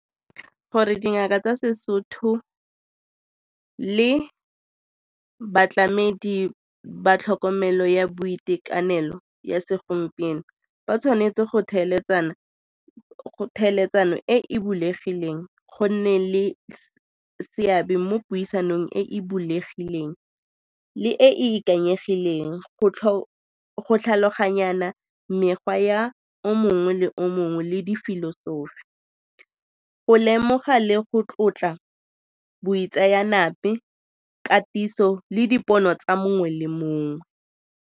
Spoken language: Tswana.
Gore dingaka tsa seSotho le batlamedi ba tlhokomelo ya boitekanelo ya segompieno ba tshwanetse go e e bulegileng, go nne le seabe mo puisanong e e bulegileng le e ikanyegileng go tlhaloganyana mekgwa ya o mongwe le o mongwe le difilosofi go lemoga le go tlotla boitseanape, katiso le dipono tsa mongwe le mongwe.